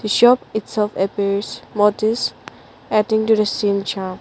shop it's of appears mart is at interesting charm.